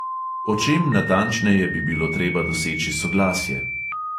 O čem natančneje bi bilo treba doseči soglasje?